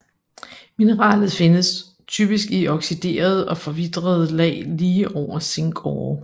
Mineralet findes typisk i oxiderede og forvitrede lag lige over zinkårer